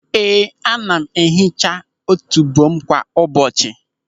Ee, ana m ehicha otubo m kwa ụbọchị.